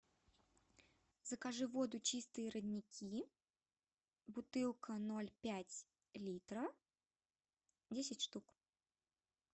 закажи воду чистые родники бутылка ноль пять литра десять штук